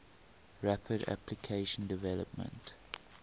rapid application development